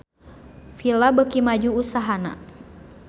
Fila beuki maju usahana